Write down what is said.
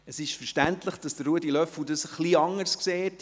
Es ist verständlich, dass es Ruedi Löffel etwas anders sieht.